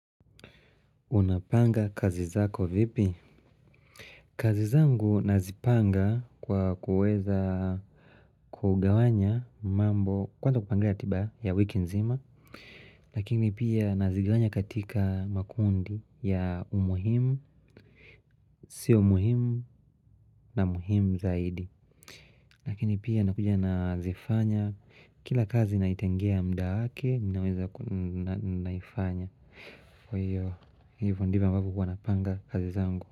Unapanga kazi zako vipi? Kazi zangu nazipanga kwa kuweza kugawanya mambo kwanza kupangia tiba ya wiki nzima lakini pia nazigawanya katika makundi ya umuhimu. Sio muhimu na muhimu zaidi. Lakini pia nakuja nazifanya kila kazi naitengea mda wake minaweza naifanya. Kwa hivyo ndivyo ambavyo huwa napanga kazi zangu.